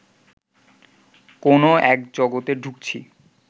কোনও এক জগতে ঢুকছি